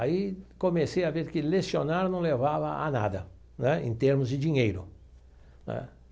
Aí comecei a ver que lecionar não levava a nada né, em termos de dinheiro né.